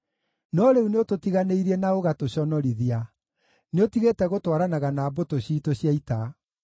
No rĩu nĩũtũtiganĩirie na ũgatũconorithia; nĩũtigĩte gũtwaranaga na mbũtũ ciitũ cia ita.